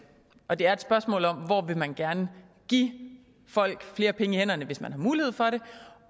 og det er et spørgsmål om hvor man gerne vil give folk flere penge mellem hænderne hvis man har mulighed for det